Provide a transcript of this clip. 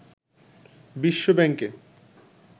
বিশ্ব ব্যাংকে